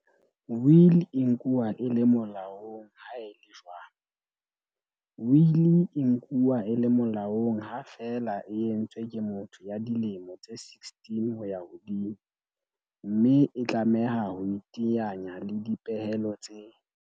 Wili e nkuwa e le mo laong ha e le jwang? Wili e nkuwa e le molaong ha feela e entswe ke motho ya dilemo tse 16 ho ya hodimo, mme e tlameha ho iteanya le dipehelo tse